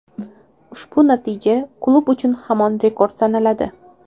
Ushbu natija klub uchun hamon rekord sanaladi.